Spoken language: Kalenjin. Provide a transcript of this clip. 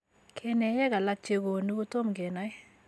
Keneyeek alak chekoonu kotom kenai.